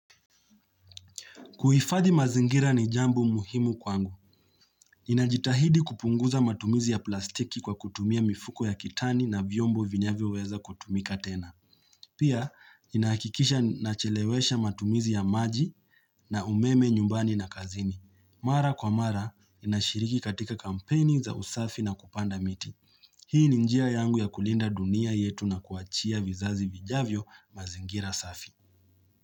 Kuhifadhi mazingira ni jambo muhimu kwangu. Inajitahidi kupunguza matumizi ya plastiki kwa kutumia mifuko ya kitani na vyombo vinyavyo weza kutumika tena. Pia, inahakikisha nachelewesha matumizi ya maji na umeme nyumbani na kazini. Mara kwa mara, ninashiriki katika kampeni za usafi na kupanda miti. Hii ni njia yangu ya kulinda dunia yetu na kuachia vizazi vijavyo mazingira safi.